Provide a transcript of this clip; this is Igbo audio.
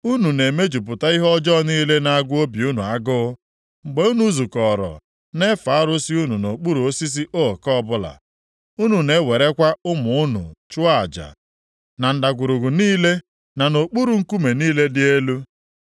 Unu na-emejupụta ihe ọjọọ niile na-agụ obi unu agụụ mgbe unu zukọrọ na-efe arụsị unu nʼokpuru osisi ook ọbụla. Unu na-ewerekwa ụmụ unu chụọ aja na ndagwurugwu niile, na nʼokpuru nkume niile dị elu.